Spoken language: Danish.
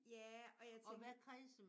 Ja og jeg tænker